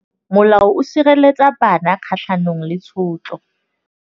Molao o sireletsa bana kgatlhanong le tshotlo.